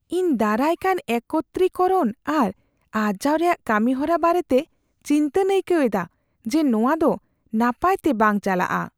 ᱤᱧ ᱫᱟᱨᱟᱭ ᱠᱟᱱ ᱮᱠᱚᱛᱨᱤᱼᱠᱚᱨᱚᱱ ᱟᱨ ᱟᱨᱡᱟᱣ ᱨᱮᱭᱟᱜ ᱠᱟᱹᱢᱤᱦᱚᱨᱟ ᱵᱟᱨᱮᱛᱮ ᱪᱤᱱᱛᱟᱹᱧ ᱟᱹᱭᱠᱟᱹᱣ ᱮᱫᱟ ᱡᱮ ᱱᱚᱶᱟ ᱫᱚ ᱱᱟᱯᱟᱭᱛᱮ ᱵᱟᱝ ᱪᱟᱞᱟᱜᱼᱟ ᱾